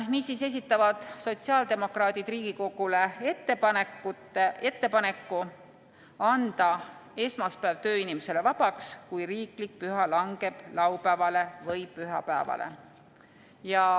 Niisiis esitavad sotsiaaldemokraadid Riigikogule ettepaneku anda esmaspäev tööinimesele vabaks, kui riiklik püha langeb laupäevale või pühapäevale.